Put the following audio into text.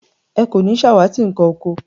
Ẹ kò ní ṣàwátì nkàn oko